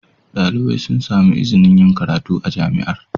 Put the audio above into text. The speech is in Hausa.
Dalibai sun sami izinin yin karatu a Jami'ar.